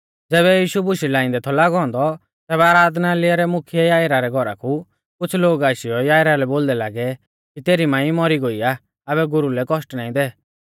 ज़ैबै यीशु बुशै लाइंदै थौ लागौ औन्दौ तेबी आराधनालय रै मुख्यै याईरा रै घौरा कु कुछ़ लोग आशीयौ याईरा लै बोलदै लागै कि तेरी मांई मौरी गोई आ आबै गुरु लै कौष्ट नाईं दै